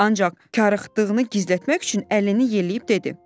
Ancaq karıxdığını gizlətmək üçün əlini yelləyib dedi: